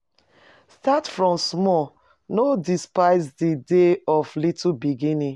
Start from small no dispise di days of little beginnings